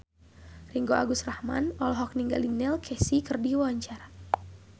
Ringgo Agus Rahman olohok ningali Neil Casey keur diwawancara